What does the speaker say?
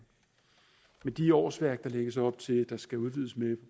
men de årsværk der lægges op til at der skal udvides med